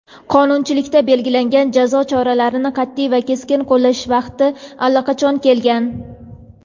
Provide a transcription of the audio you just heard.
qonunchilikda belgilangan jazo choralarini qatʼiy va keskin qo‘llash vaqti allaqachon kelgan.